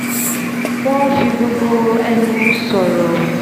wọ́n n fi gbogbo ẹnu sọ̀rọ̀